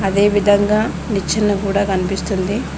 ఆదే విధంగా నిచ్చన కూడ కనిపిస్తుంది.